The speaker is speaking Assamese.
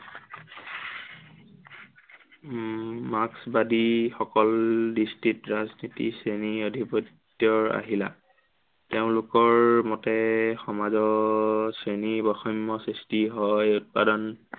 উম মাৰ্ক্সবাদীসকল দৃষ্টিত ৰাজনীতি শ্ৰেণী অধিপত্য়ৰ আহিলা। তেওঁলোকৰ মতে সমাজত শ্ৰেণী বৈষম্য় সৃষ্টি হয়, উৎপাদন